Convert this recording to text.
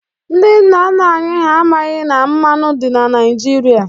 Ndị nna nna anyị ha amaghị na mmanụ dị na Naịjirịa.